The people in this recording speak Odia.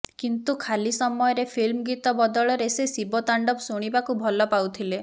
କିନ୍ତୁ ଖାଲି ସମୟରେ ଫିଲ୍ମ ଗୀତ ବଦଳରେ ସେ ଶିବ ତାଣ୍ଡବ ଶୁଣିବାକୁ ଭଲ ପାଉଥିଲେ